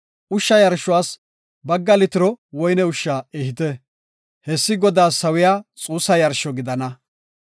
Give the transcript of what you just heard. Ushsha yarshuwas bagga litiro woyne ushsha ehite. Hessi Godaas sawiya xuussa yarsho gidana.